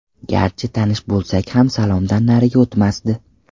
Garchi tanish bo‘lsak ham salomdan nariga o‘tmasdi.